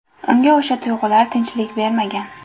Unga o‘sha tuyg‘ular tinchlik bermagan.